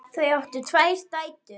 Þau áttu tvær dætur.